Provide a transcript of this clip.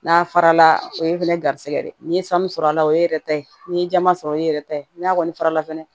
N'a farala o ye fɛnɛ garisigɛ de ye ni ye sanu sɔrɔ a la o ye yɛrɛ ta ye n'i ye jama sɔrɔ o ye yɛrɛ ta ye n'a kɔni fara la fɛnɛ